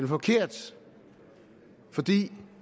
forkert fordi